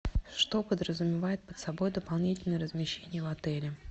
что подразумевает под собой дополнительное размещение в отеле